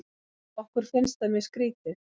Okkur finnst það mjög skrítið.